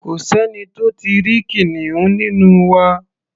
Kò sẹ́ni tó tí ì rí kìnìún nínú wa.